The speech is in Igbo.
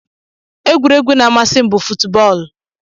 Egwuregwu na amasim bu fuutbọọlụ.